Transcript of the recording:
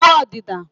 ịwụ ọdịda